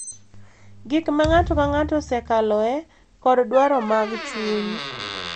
Gik ma ng’ato ka ng’ato osekaloe, kod dwaro mag chuny,